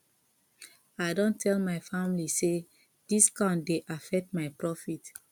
i don tell my family say discount dey affect my profit